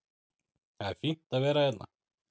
Það er fínt að vera hérna.